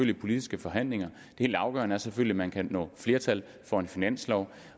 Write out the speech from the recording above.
de politiske forhandlinger det helt afgørende er selvfølgelig at man kan få flertal for en finanslov